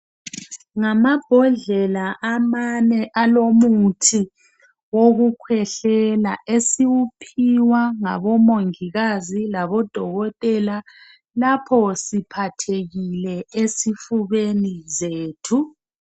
Ngamambodlela amane alomuthi wokukhwehlela esiwuphiwa ngoMongikazi laboDokotela lapho siphathekile ezifubeni zethu.